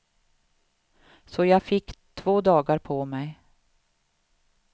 Så jag fick två dagar på mig.